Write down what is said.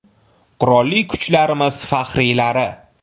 Qurolli Kuchlarimiz faxriylari!